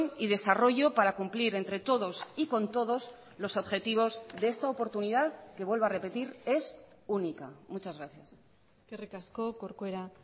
y desarrollo para cumplir entre todos y con todos los objetivos de esta oportunidad que vuelvo a repetir es única muchas gracias eskerrik asko corcuera